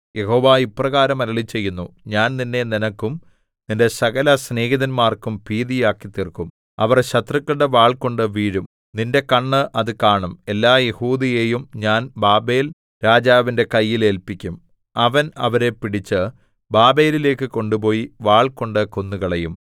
യഹോവ ഇപ്രകാരം അരുളിച്ചെയ്യുന്നു ഞാൻ നിന്നെ നിനക്കും നിന്റെ സകല സ്നേഹിതന്മാർക്കും ഭീതിയാക്കിത്തീർക്കും അവർ ശത്രുക്കളുടെ വാൾകൊണ്ടു വീഴും നിന്റെ കണ്ണ് അത് കാണും എല്ലാ യെഹൂദയെയും ഞാൻ ബാബേൽരാജാവിന്റെ കയ്യിൽ ഏല്പിക്കും അവൻ അവരെ പിടിച്ച് ബാബേലിലേക്കു കൊണ്ടുപോയി വാൾകൊണ്ട് കൊന്നുകളയും